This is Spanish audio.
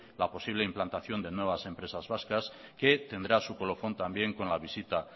la posible implantación de nuevas empresas vascas que tendrá su colofón también con la visita